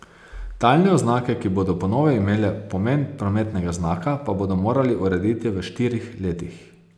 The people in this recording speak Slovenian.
Talne oznake, ki bodo po novem imele pomen prometnega znaka, pa bodo morali urediti v štirih letih.